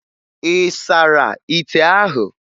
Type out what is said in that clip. Ị sara ite ahụ?